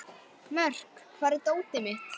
Mörk, hvar er dótið mitt?